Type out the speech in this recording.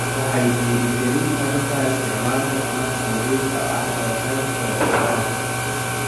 Waxay dhiirigelin kartaa isticmaalka tamarta nadiifka ah ee qaybta warshadaha.